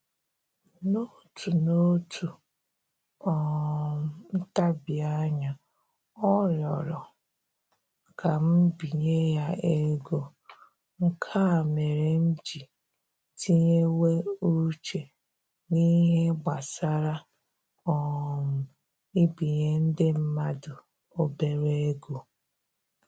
N'otu N'otu um ntabianya, ọ rịọrọ m ka m binye ya ego, nke a mere m ji tinyewe uche n'ihe gbasara um ibinye ndị mmadụ obere ego